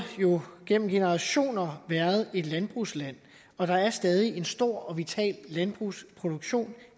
gennem generationer været et landbrugsland og der er stadig en stor og vital landbrugsproduktion